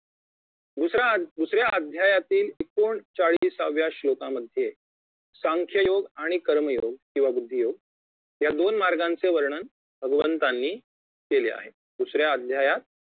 दुसरा अ दुसऱ्या अध्यायातील एकोणचाळीसाव्या श्लोकांमध्ये सांख्ययोग आणि कर्मयोग किंवा बुद्धियोग या दोन मार्गाचे वर्णन भगवंतांनी केले आहे दुसऱ्या अध्यायात